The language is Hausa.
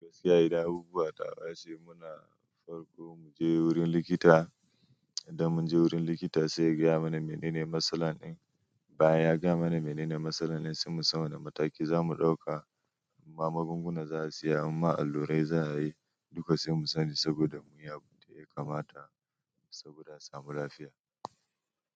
Gaskiya idan abubuwa taɓaci muna farko mu je wurin likita. Idan mun je wurin likita sai ya gaya mana menene matsala ɗin. In baya ya gaya mana menene matsalan ɗin sai mu san wani mataki zamu ɗauka. Ma magunguna za a saya imma allurai za a yi. Duka se mu sani saboda muyi abun da ya kamata saboda a samu lafiya.